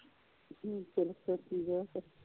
ਫਿਰ ਸੋਚੀ ਜਾ ਫਿਰ